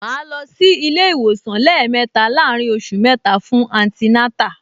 Màá lọ sí ilé-ìwòsàn lẹ́ẹ̀mẹta láàárín oṣù mẹ́ta fún antinátà